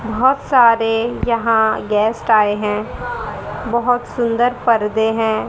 बहोत सारे यहां गेस्ट आए हैं बहोत सुंदर पर्दे हैं।